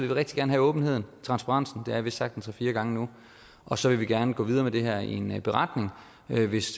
vil rigtig gerne have åbenheden transparensen det har jeg vist sagt en tre fire gange nu og så vil vi gerne gå videre med det her i en beretning hvis